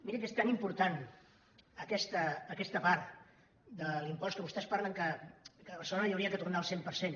miri és tan important aquesta part de l’impost de què vostès parlen que a barcelona hi hauria de tornar el cent per cent